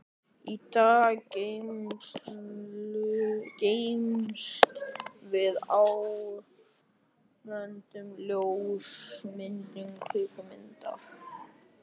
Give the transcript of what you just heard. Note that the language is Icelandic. Í dag geymumst við á böndum, ljósmyndum, kvikmyndum.